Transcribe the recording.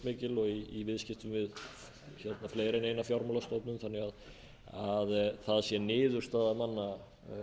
umfangsmikil og í viðskiptum við fleiri en eina fjármálastofnun þannig að það sé niðurstaða manna að